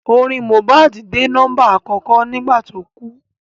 Orin Mohbad dé nọ́mbà àkọ́kọ́ nígbà tí ó kú